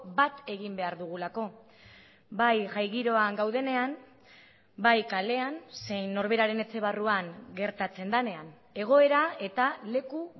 bat egin behar dugulako bai jai giroan gaudenean bai kalean zein norberaren etxe barruan gertatzen denean egoera eta leku